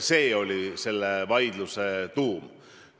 See oli selle vaidluse tuum.